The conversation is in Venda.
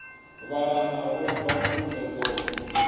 vhalanda vho bva khuḓa dzoṱhe